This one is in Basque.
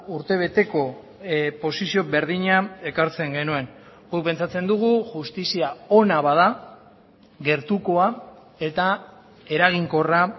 urtebeteko posizio berdina ekartzen genuen guk pentsatzen dugu justizia ona bada gertukoa eta eraginkorra